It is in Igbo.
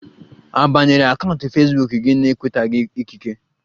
A banyere akaụntụ fesbuk gi na-enwetaghi ikike?